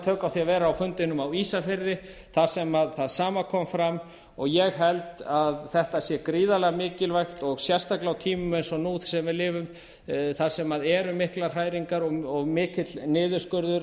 tök á því að vera á fundinum á ísafirði þar sem það sama kom fram og ég held að þetta sé gríðarlega mikilvægt og sérstaklega á tímum eins og nú sem við lifum þar sem eru miklar hræringar og mikill niðurskurður